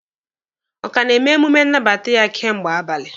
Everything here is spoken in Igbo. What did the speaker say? Ọ ka na-eme emume nnabata ya kemgbe abalị?